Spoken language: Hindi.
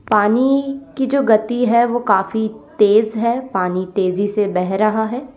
पानी की जो गती है वह काफी तेज है पानी तेजी से बह रहा है।